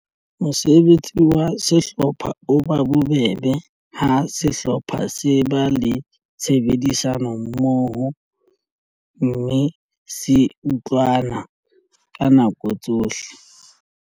Mosebetsi wa sehlopha o ba bobebe ha sehlopha se ba le tshebedisano mmoho mme se utlwana ka nako tsohle.